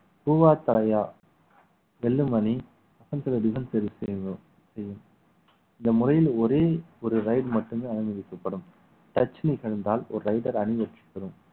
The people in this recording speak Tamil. பூவா தலையா வெல்லும் அணி இந்த முறையில் ஒரே ஒரு ride மட்டுமே அனுமதிக்கப்படும் touch me என்றால் ஒரு raider அணிவகுக்கப்படும்